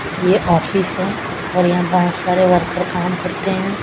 ये ऑफिस है और यहां पर बहुत सारे वर्कर काम करते हैं।